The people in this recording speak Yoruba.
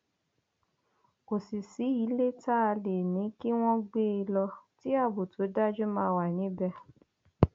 kò sì sí ilé tá a lè ní kí wọn gbé e lọ tí ààbò tó dájú máa wà níbẹ